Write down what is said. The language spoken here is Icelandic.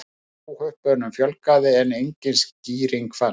Óhöppunum fjölgaði en engin skýring fannst.